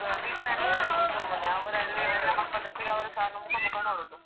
Tuition ಅಂತ ಹೇಳುದು ಸುಮ್ನೆ ಅವರು ಅಲ್ಲಿ ಎಲ್ಲ ಮಕ್ಕಳೊಟ್ಟಿಗೆ ಅವರು ಸಾ ಮುಖ ಮುಖ ನೋಡುದು.